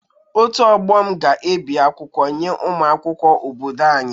Otu ọgbọ m ga-ebi akwụkwọ nye ụmụ akwụkwọ obodo anyị.